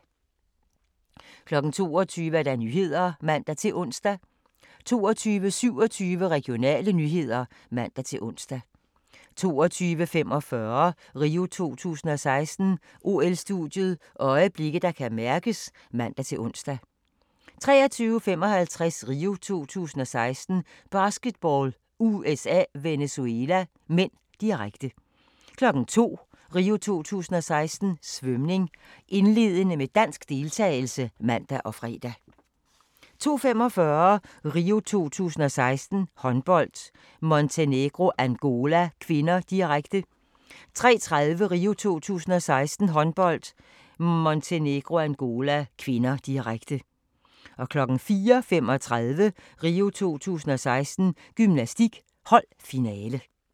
22:00: Nyhederne (man-ons) 22:27: Regionale nyheder (man-ons) 22:45: RIO 2016: OL-studiet – øjeblikke, der kan mærkes (man-ons) 23:55: RIO 2016: Basketball - USA-Venezuela (m), direkte 02:00: RIO 2016: Svømning - indledende med dansk deltagelse (man og fre) 02:45: RIO 2016: Håndbold - Montenegro-Angola (k), direkte 03:30: RIO 2016: Håndbold - Montenegro-Angola (k), direkte 04:35: RIO 2016: Gymnastik - holdfinale